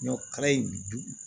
Ɲɔ kala in bi